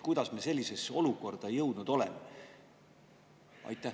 Kuidas me sellisesse olukorda jõudnud oleme?